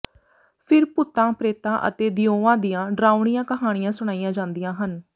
ਫਿਰ ਭੂਤਾਂ ਪ੍ਰੇਤਾਂ ਅਤੇ ਦਿਓਆਂ ਦੀਆਂ ਡਰਾਉਣੀਆਂ ਕਹਾਣੀਆਂ ਸੁਣਾਈਆਂ ਜਾਂਦੀਆਂ ਹਨ